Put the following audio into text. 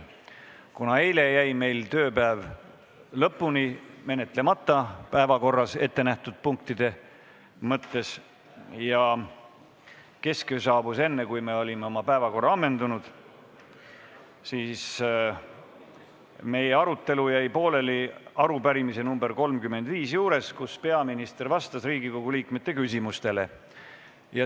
Kuna eilse tööpäeva jooksul ei jõudnud me oma päevakorras olnud punkte lõpuni menetleda ja kesköö saabus enne, kui me olime oma päevakorra ammendanud, siis jäi meie arutelu pooleli arupärimise nr 35 juures sinna, kus peaminister vastas Riigikogu liikmete küsimustele.